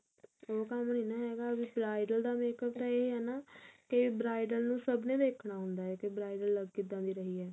ਉਹ ਕੰਮ ਨੀ ਨਾ ਹੈਗਾ ਵੀ bridal ਦਾ makeup ਤਾਂ ਇਹ ਹੈ ਨਾ ਕੀ bridal ਨੂੰ ਸਭ ਨੇ ਦੇਖਣਾ ਹੁੰਦਾ ਕੀ bridal ਲੱਗ ਕਿੱਦਾ ਦੀ ਰਹੀ ਏ